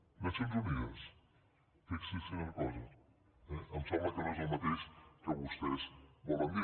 les nacions unides fixi’s quina cosa eh em sembla que no és el mateix que vostès volen dir